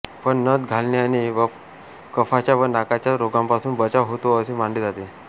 पण नथ घालण्याने कफाच्या व नाकाच्या रोगांपासून बचाव होतो असे मानले जाते